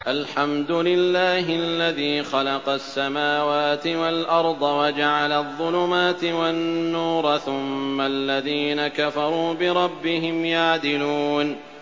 الْحَمْدُ لِلَّهِ الَّذِي خَلَقَ السَّمَاوَاتِ وَالْأَرْضَ وَجَعَلَ الظُّلُمَاتِ وَالنُّورَ ۖ ثُمَّ الَّذِينَ كَفَرُوا بِرَبِّهِمْ يَعْدِلُونَ